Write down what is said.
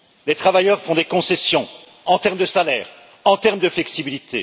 Les travailleurs font des concessions en termes de salaire, en termes de flexibilité.